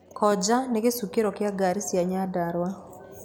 Koja nĩ gĩcukĩro kĩa ngari cia Nyandarua.